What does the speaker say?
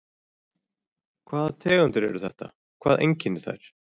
Brynja Þorgeirsdóttir: Hvernig tegundir eru þetta, hvað einkennir þær?